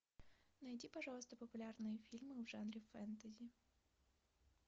найди пожалуйста популярные фильмы в жанре фэнтези